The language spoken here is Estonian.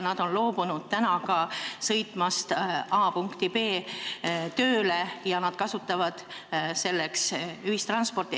Nad on loobunud ka sõitmast punktist A punkti B tööle oma sõidukiga ja kasutavad selleks ühistransporti.